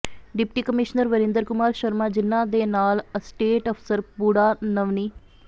deputy commissioner Varinder Kumar Sharma ਜਿਨ੍ਹਾਂ ਦੇ ਨਾਲ ਅਸਟੇਟ ਅਫ਼ਸਰ ਪੁੱਡਾ ਨਵਨੀ